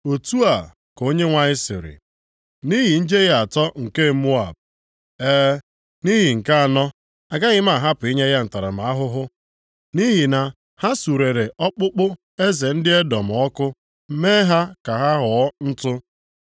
Otu a ka Onyenwe anyị sịrị, “Nʼihi njehie atọ nke Moab, e, nʼihi nke anọ, agaghị m ahapụ inye ya ntaramahụhụ. Nʼihi na ha surere ọkpụkpụ eze ndị Edọm ọkụ, mee ha ka ha ghọọ ntụ.